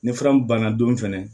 Ni fura mun banna don fɛnɛ